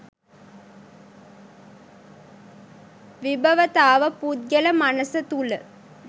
විභවතාව පුද්ගල මනස තුළ